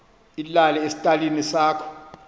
ilale esitalini sakho